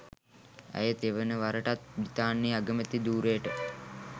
ඇය තෙවන වරටත් බ්‍රිතාන්‍යයේ අගමැති ධූරයට